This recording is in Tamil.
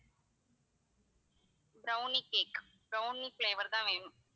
brownie cake brownie flavour தான் வேணும்.